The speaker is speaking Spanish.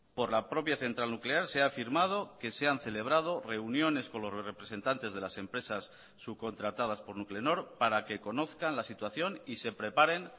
por la propia central nuclear se ha afirmado que se han celebrado reuniones con los representantes de las empresas subcontratadas por nuclenor para que conozcan la situación y se preparen